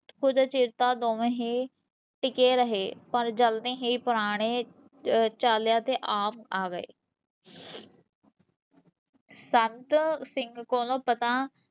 ਕੁਛ ਚਿਰ ਤਾਂ ਦੋਵੇ ਹੀਂ ਟਿਕੇ ਰਹੇ ਪਰ ਜਲਦੀ ਹੀਂ ਪੁਰਾਣੇ, ਚਾਲਿਆ ਤੇ ਆਮ ਆ ਗਏ ਸੰਤ ਸਿੰਘ ਕੋਲੋਂ ਪਤਾ